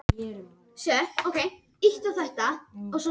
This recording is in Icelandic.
Þorvaldur Örlygsson er svo sannarlega ekki búinn að gleyma honum.